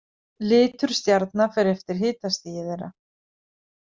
Litur stjarna fer eftir hitastigi þeirra.